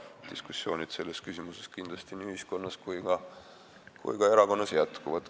Kindlasti diskussioonid selles küsimuses nii ühiskonnas kui ka erakonnas jätkuvad.